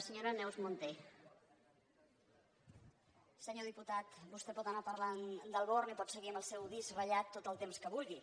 senyor diputat vostè pot anar parlant del born i pot seguir amb el seu disc ratllat tot el temps que vulgui